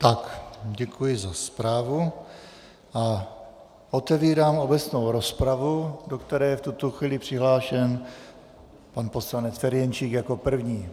Tak, děkuji za zprávu a otevírám obecnou rozpravu, do které je v tuto chvíli přihlášen pan poslanec Ferjenčík jako první.